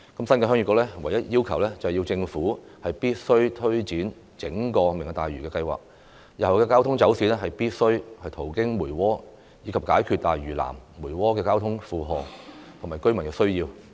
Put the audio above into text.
新界鄉議局唯一要求，是政府必須推展整個"明日大嶼"計劃，日後的交通走線必須途經梅窩，以解決大嶼南、梅窩的交通負荷及居民需要。